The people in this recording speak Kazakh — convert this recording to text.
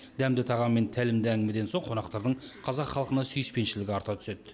дәмді тағам мен тәлімді әңгімеден соң қонақтардың қазақ халқына сүйіспеншілігі арта түседі